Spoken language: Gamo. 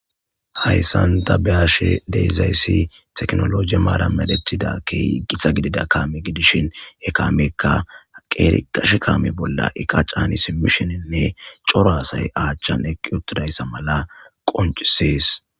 Hayssan ta be'ashe de'izayssi tekinoloje maaran medhettida keehi gita kaame gidishin he kaameykka qeeri gashe kaame bollan eqa caani simmishinne cora asay a achchan eqqi uttidayssa mala qonccisees.